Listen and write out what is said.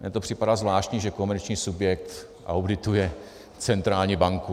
Mně to připadá zvláštní, že komerční subjekt audituje centrální banku.